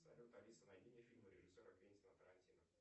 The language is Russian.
салют алиса найди мне фильмы режиссера квентина тарантино